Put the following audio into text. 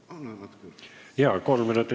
Palun natuke aega juurde!